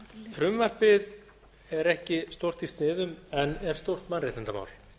frumvarpið er ekki stórt í sniðum en er stórt mannréttindamál